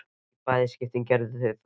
Í bæði skiptin gerðu þau það.